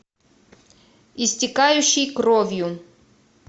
истекающий кровью